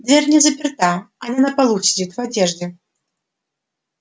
дверь не заперта она на полу сидит в одежде